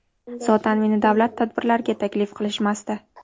Zotan meni davlat tadbirlariga taklif qilishmasdi.